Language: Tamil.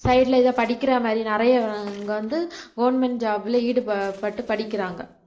side ல இதை படிக்கிற மாதிரி நிறைய ஆஹ் இங்க வந்து government job ல ஈடுப்பட்டு படிக்கிறாங்க